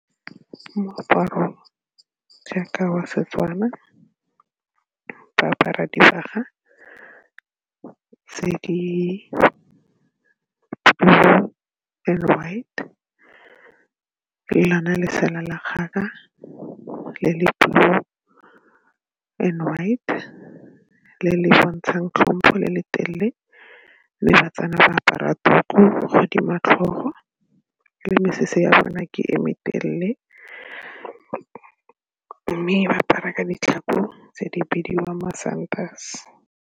Moaparo jaaka wa Setswana ba apara dibaga tse di-blue and white, le lona lesela la kgaka le le blue and white ke le le bontshang tlhompho le le telele mme ba-Tswana ba apara tuku godimo ga tlhogo le mesese ya bone ke e metelele mme ba apara ka ditlhako tse di bidiwang masantase.